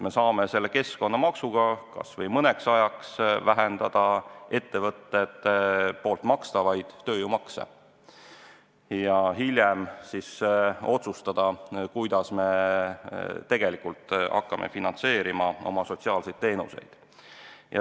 Me saame keskkonnamaksu abil kas või mõneks ajaks vähendada ettevõtete makstavaid tööjõumakse ja hiljem otsustada, kuidas me hakkame finantseerima oma sotsiaalseid teenuseid.